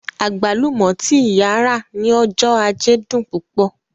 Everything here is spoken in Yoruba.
Agbalumo tí ìyá rà ní ọjọ́ ajé dùn púpọ̀